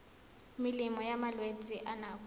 melemo ya malwetse a nako